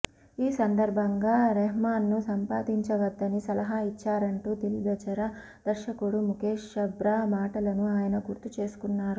ఈ సందర్బంగా రెహమాన్ను సంప్రదించవద్దని సలహా ఇచ్చారంటూ దిల్ బెచారా దర్శకుడు ముఖేష్ ఛబ్రా మాటలను ఆయన గుర్తు చేసుకున్నారు